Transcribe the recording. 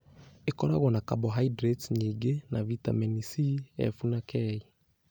Ĩkoragwo na carbohydrates nyingĩ, na vitamini C, Fe, na K.